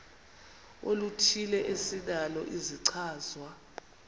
oluthile esinalo isichazwa